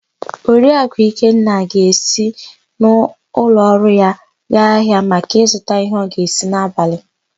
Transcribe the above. Oriakụ Ikenna ga-esi n'ụlọọrụ ya gaa ahịa maka ịzụta íhé ọ ga-esi n'abalị.